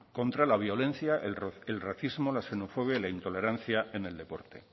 contra la violencia el racismo la xenofobia y la intolerancia en el deporte